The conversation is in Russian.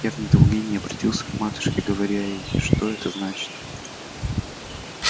я в недоумении оборотился к матушке говоря ей что это значит